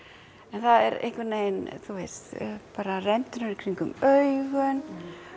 en það er einhvern veginn bara rendurnar í kringum augun